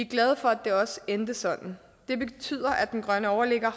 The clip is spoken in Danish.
glade for at det også endte sådan det betyder at den grønne overligger